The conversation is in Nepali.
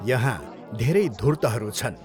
यहाँ धेरै धुर्तहरू छन्।